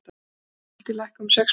Skuldir lækka um sex milljarða